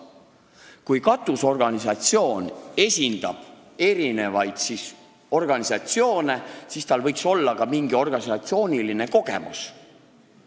Kui katusorganisatsioon esindab erinevaid organisatsioone, siis seal töötaval inimesel võiks olla ka mingi organisatsioonis töötamise kogemus.